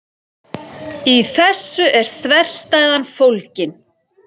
Í þessu er þverstæðan fólgin.